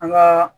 An ka